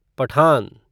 Pathan